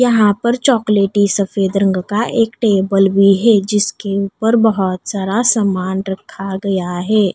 यहां पर चॉकलेटी सफेद रंग का एक टेबल भी है। जिसके ऊपर बहोत सारा सामान रखा गया है।